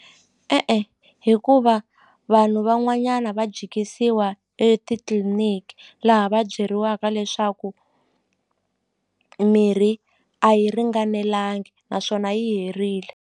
E-e hikuva vanhu van'wanyana va jikisiwa etitliniki laha va byeriwaka leswaku mirhi a yi ringanelangi naswona yi herile.